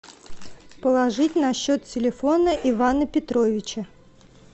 положить на счет телефона ивана петровича